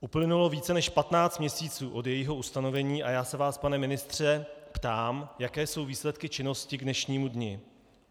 Uplynulo více než 15 měsíců od jejího ustanovení a já se vás, pane ministře, ptám, jaké jsou výsledky činnosti k dnešnímu dni.